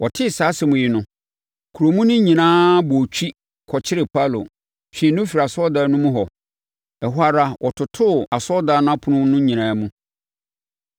Wɔtee saa asɛm yi no, kuro mu no nyinaa bɔɔ twi, kɔkyeree Paulo, twee no firii asɔredan no mu hɔ. Ɛhɔ ara, wɔtotoo asɔredan no apono no nyinaa mu.